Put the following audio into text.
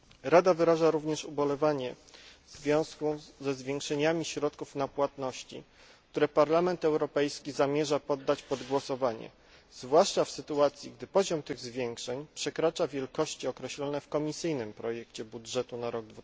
Rada wyraża również ubolewanie w związku ze zwiększeniami środków na płatności, które Parlament Europejski zamierza poddać pod głosowanie, zwłaszcza w sytuacji, gdy poziom tych zwiększeń przekracza wielkości określone w komisyjnym projekcie budżetu na rok